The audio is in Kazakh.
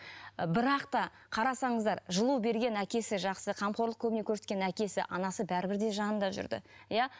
і бірақ та қарасаңыздар жылу берген әкесі жақсы қамқорлық көңіл көрсеткен әкесі анасы бәрібір де жанында жүрді иә